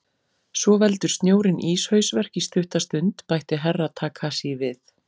Svo veldur snjórinn íshausverk í stutta stund, bætti Herra Takashi við.